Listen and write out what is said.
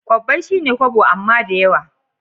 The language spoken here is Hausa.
Kobbai shine kobo amma dayawa